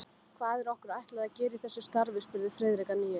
Hvað er okkur ætlað að gera í þessu starfi? spurði Friðrik að nýju.